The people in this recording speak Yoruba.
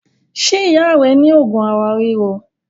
Ṣé ìyá rẹ ní òògùn ara ríro?